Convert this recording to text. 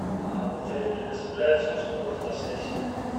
а в отеле предоставляется услуга фотосессия